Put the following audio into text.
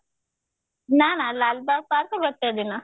ନା ନା ଲାଲବାଗ park ଗୋଟେ ଦିନ